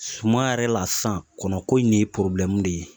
Suma yɛrɛ la sisan, kɔnɔ ko in de ye de ye.